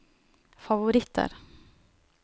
favoritter